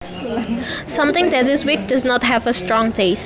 Something that is weak does not have a strong taste